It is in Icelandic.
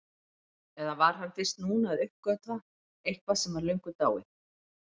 Eða var hann fyrst núna að uppgötva eitthvað sem var löngu dáið?